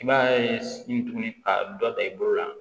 I b'a ye tuguni ka dɔ ta i bolo la